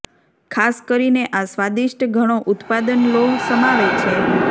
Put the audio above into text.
ખાસ કરીને આ સ્વાદિષ્ટ ઘણો ઉત્પાદન લોહ સમાવે છે